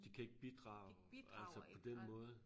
De kan ikke bidrage altså på den måde